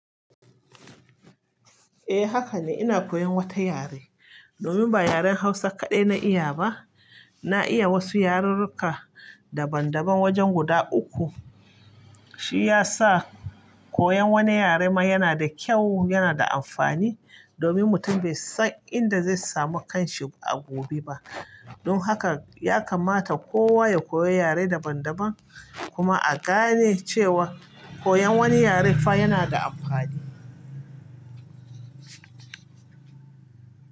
Eh haka ne. Ina koyan wata yare domin ba yaren Hausa kaɗai na iya ba. Na iya wasu yarurruka daban daban wajen guda uku. Shi ya sa koyan wani yare ma yana da kyau, yana da amfani domin mutum bai san inda zai samu kanshi a gobe ba. Don haka ya kamata kowa ya koyi yare daban daban kuma a gane cewa koyan wani yare fa yana da amfani.